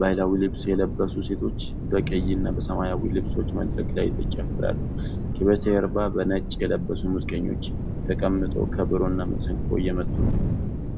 ባሕላዊ ልብስ የለበሱ ሴቶች በቀይ እና በሰማያዊ ልብሶች መድረክ ላይ ይጨፍራሉ። ከበስተጀርባ በነጭ የለበሱ ሙዚቀኞች ተቀምጠው ከበሮና መሰንቆ እየመቱ ነው።